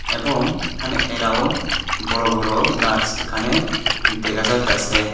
এবং এখানে এরাউন বড় বড় গাছ এখানে দেখা যাইতাসে।